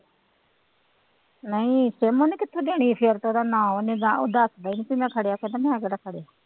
ਨਹੀਂ ਸਿਮ ਉਹਨੇ ਕਿੱਥੋਂ ਦੇਣੀ ਸੀ ਉਹ ਦੱਸਦਾ ਨੀ ਸੀ ਮੈਂ ਫੜਿਆ ਕਹਿੰਦਾ ਮੈਂ ਕਿਹੜਾ ਫੜਿਆ।